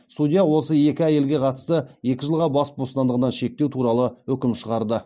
судья осы екі әйелге қатысты екі жылға бас бостандығынан шектеу туралы үкім шығарды